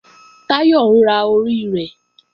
Táyọ̀ ń ra orí rẹ̀